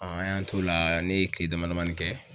an y'an t'o la ne ye kile damadamanin kɛ